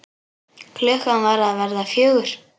Klukkan var að verða fjögur.